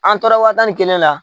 An tora wa tan ni kelen na